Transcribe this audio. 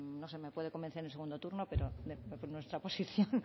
no sé me puede convencer en el segundo turno pero nuestra posición